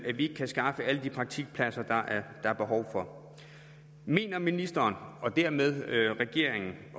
at vi ikke kan skaffe alle de praktikpladser der er behov for mener ministeren og dermed regeringen